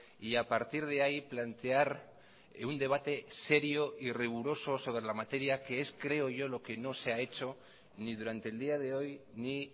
y a partir de ahí plantear un debate serio y riguroso sobre la materia que es creo yo lo que no se ha hecho ni durante el día de hoy ni